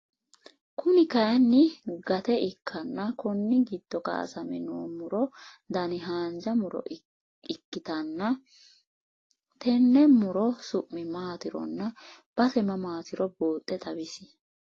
Kuni kayiinni gate ikkanna Konni giddo kaasame noo muro Dani haanja muro ikkitanna tenne muro summi maaturonna base mamaatiro buuxxe xawisi